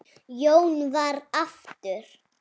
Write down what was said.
Jón vann aftur.